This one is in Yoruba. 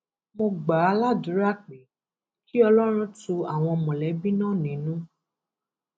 mo gbà á ládùúrà pé kí ọlọrun tu àwọn mọlẹbí náà nínú